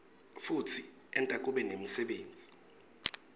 futsi enta kube nemsebenti